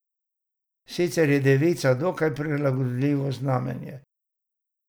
Sicer je devica dokaj prilagodljivo znamenje.